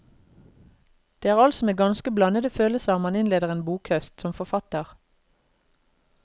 Det er altså med ganske blandede følelser man innleder en bokhøst, som forfatter.